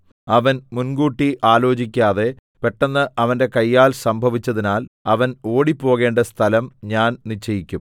അവൻ മുൻകൂട്ടി ആലോചിക്കാതെ പെട്ടെന്ന് അവന്റെ കയ്യാൽ സംഭവിച്ചതിനാൽ അവൻ ഓടിപ്പോകേണ്ട സ്ഥലം ഞാൻ നിശ്ചയിക്കും